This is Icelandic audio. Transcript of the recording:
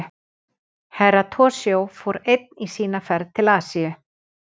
Herra Toshizo fór einn í sina ferð til Asíu.